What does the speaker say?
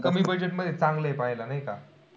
कमी budget मध्ये चांगलं आहे पाहायला नाही का?